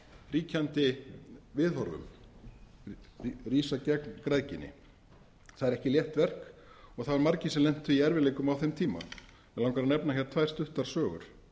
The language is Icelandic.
ríkjandi viðhorfum rísa gegn græðginni það er ekki létt verk og það voru margir sem lentu í erfiðleikum á þeim tíma mig langar að nefna hér tvær stuttar sögur